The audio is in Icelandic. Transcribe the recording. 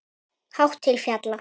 Hátt til fjalla?